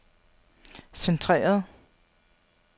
centreret